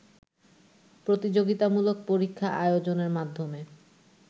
প্রতিযোগিতামূলক পরীক্ষা আয়োজনের মাধ্যমে